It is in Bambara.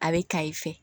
A bɛ ka i fɛ